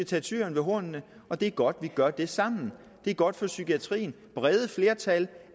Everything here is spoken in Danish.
tage tyren ved hornene og det er godt vi gør det sammen det er godt for psykiatrien brede flertal